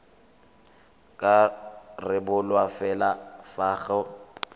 ka rebolwa fela fa go